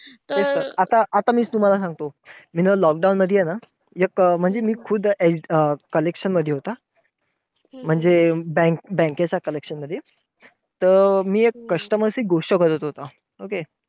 ठीक आहे. आता आता मी तुम्हांला सांगतो. मी ना lockdown मधी ना, एक म्हणजे मी एक collection मध्ये होता. म्हणजे bank bank च्या collection मध्ये त मी एक customer शी गोष्ट करत होतो. okay